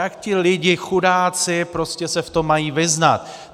Jak ty lidi, chudáci, prostě se v tom mají vyznat?